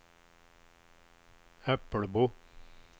Äppelbo